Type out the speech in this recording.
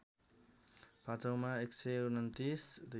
पाँचौँमा १२९